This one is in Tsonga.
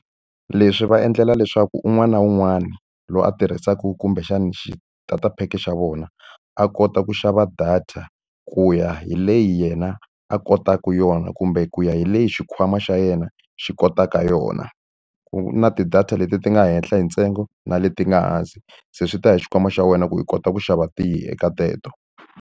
Leswi va endlela leswaku un'wana na un'wana loyi a tirhisaka kumbexana xitatapheke xa vona, a kota ku xava data ku ya hi leyi yena a kotaka yona kumbe ku ya hi leyi xikhwama xa yena xi kotaka yona. Ku na ti-data leti ti nga henhla hi ntsengo na leti nga hansi, se swi ta ya hi xikhwama xa wena ku i kota ku xava tihi eka teto.